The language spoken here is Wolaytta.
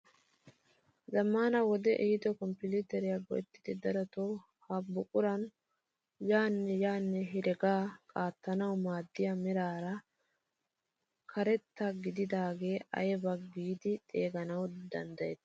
Zammaana wodee ehiido konppiiteriyaa go"ettiidi darotoo ha buquran yaanne yaanne heregaa qaattanawu maaddiyaa meraara keretta gididagaa aybaa giidi xeeganawu danddayetii?